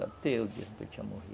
Até o dia em que eu tinha morrido.